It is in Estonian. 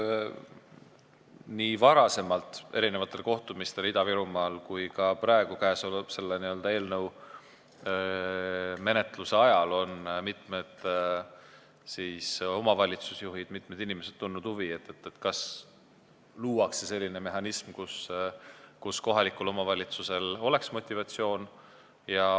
Nii varasematel kohtumistel Ida-Virumaal kui ka käesoleva eelnõu menetluse ajal on mitmed omavalitsusjuhid, mitmed inimesed tundnud huvi, kas luuakse selline mehhanism, kus kohalikul omavalitsusel oleks motivatsioon.